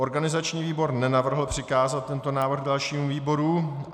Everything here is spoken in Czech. Organizační výbor nenavrhl přikázat tento návrh dalšímu výboru.